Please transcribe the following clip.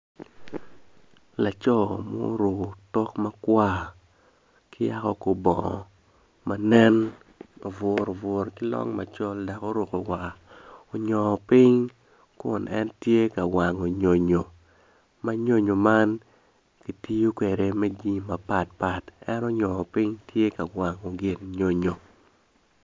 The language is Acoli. Laco ma oruko otok makwar ki yako kor bongo manen aburu aburu ki long macol dok oruko war onyongo piny kun en tye ka wango nyonyo ma nyonyo man kitiyo kwde me jami mapatpat eno onyo piny tye ka wango gin nyonyo